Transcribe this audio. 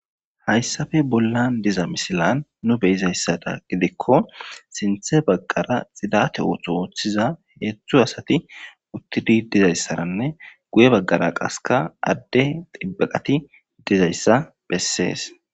Hayssappe bollan diza misilan nu beyiza issada gidikko sinthe baggara xidate ootho wooththiza heezzu asati uttidi diza asaranne guye baggara qasseka adde xibbaqati diza issa bessees.